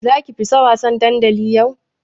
Zaki fita wasan dandali yau?